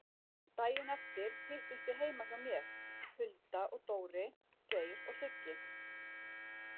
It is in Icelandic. Daginn eftir hittumst við heima hjá mér, Hulda og Dóri, Geir og Siggi.